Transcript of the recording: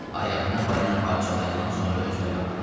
Ayağını balina parçalayandan sonra özünə qapanıb.